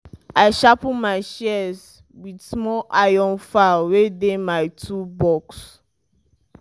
i sharpen my shears with small iron file wey dey my toolbox